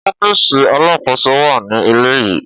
Ọfiisi Alakoso wa ni ile yii.